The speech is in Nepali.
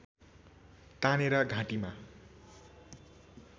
तानेर घाँटीमा